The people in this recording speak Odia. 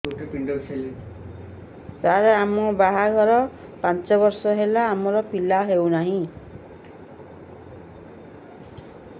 ସାର ଆମ ବାହା ଘର ପାଞ୍ଚ ବର୍ଷ ହେଲା ଆମର ପିଲା ହେଉନାହିଁ